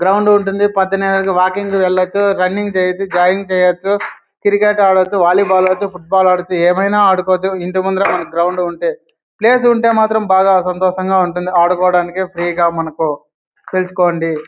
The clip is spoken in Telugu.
గ్రౌండ్ ఉంటుంది.పొద్దున్నే వాకింగ్ కి వెళ్లొచ్చురన్నింగ్ చేయొచ్చు జాగింగ్ చేయొచ్చుక్రికెట్ ఆడొచ్చువాలీబాల్ ఆడొచ్చు ఫుట్బాల్ ఆడొచ్చు ఏమైనా ఆడుకోవచ్చు ఇంటి ముందర మనకి గ్రౌండ్ ఉంటే ప్లేస్ ఉంటే మాత్రం బాగా సంతోషంగా ఉంటుంది .ఆడుకోడానికి ఫ్రీ గా మనకు తెలుసుకోండి.